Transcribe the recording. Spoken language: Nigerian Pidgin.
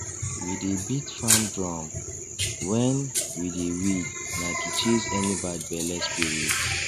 we dey beat farm drum when we dey weed na to chase any bad belle spirit